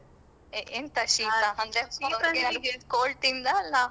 A ಎಂತ? ಶೀತ ಅಂದ್ರೆ cold ತಿಂದಾ ಅಲ್ಲಾ?